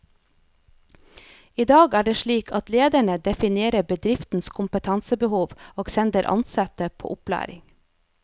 I dag er det slik at lederne definerer bedriftens kompetansebehov og sender ansatte på opplæring.